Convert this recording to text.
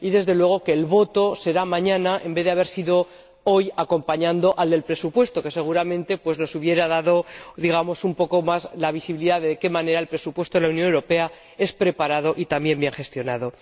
y, desde luego, que el voto será mañana en vez de haber sido hoy acompañando al del presupuesto, lo que seguramente nos hubiera dado un poco más la visibilidad de cómo el presupuesto de la Unión Europea es preparado y también bien gestionado.